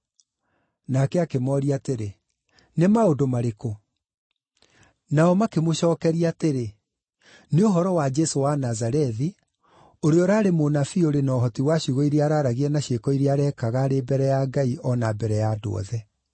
Nake akĩmooria atĩrĩ, “Nĩ maũndũ marĩkũ?” Nao makĩmũcookeria atĩrĩ, “Nĩ ũhoro wa Jesũ wa Nazarethi, ũrĩa ũraarĩ mũnabii ũrĩ na ũhoti wa ciugo iria araaragia na ciĩko iria areekaga arĩ mbere ya Ngai o na mbere ya andũ othe.